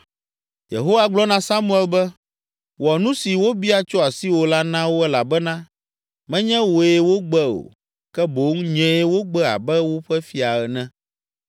Yehowa gblɔ na Samuel be, “Wɔ nu si wobia tso asiwò la na wo elabena menye wòe wogbe o, ke boŋ nyee wogbe abe woƒe fia ene.